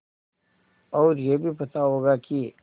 और यह भी पता होगा कि